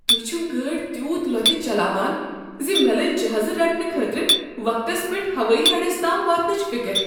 تُہۍ چھو گٲڑۍتیوت لوتِہ چلاوان ز مےٚ لٔج جہازٕ رٹنہٕ خٲطرٕ وقتس پیٹھ ہوٲیی اڈس تام واتنٕچ فکر۔